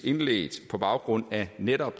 indledt på baggrund af netop